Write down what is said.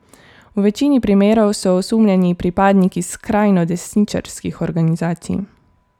V večini primerov so osumljeni pripadniki skrajno desničarskih organizacij.